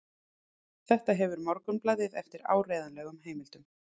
Þetta hefur Morgunblaðið eftir áreiðanlegum heimildum